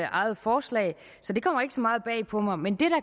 eget forslag så det kommer ikke så meget bag på mig men det